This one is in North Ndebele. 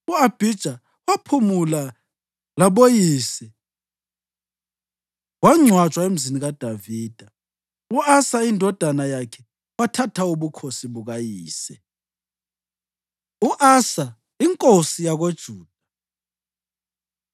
U-Abhija waphumula laboyise wangcwatshwa emzini kaDavida. U-Asa indodana yakhe wathatha ubukhosi bukayise. U-Asa Inkosi YakoJuda